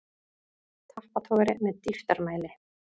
Tappatogari með dýptarmæli.